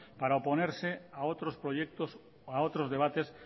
para oponerse a otros proyectos a otros debates